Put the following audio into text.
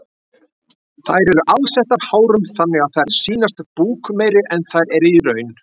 Þær eru alsettar hárum þannig að þær sýnast búkmeiri en þær eru í raun.